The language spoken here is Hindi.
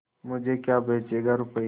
मुझे क्या बेचेगा रुपय्या